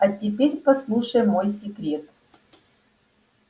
а теперь послушай мой секрет